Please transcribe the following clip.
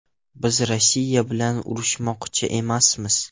Biz Rossiya bilan urushmoqchi emasmiz”.